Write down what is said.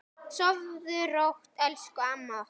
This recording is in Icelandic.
Sofðu rótt elsku amma okkar.